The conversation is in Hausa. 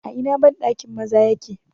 A ina bandakin maza yake?